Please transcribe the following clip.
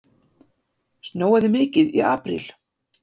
Snjóaði mikið í apríl?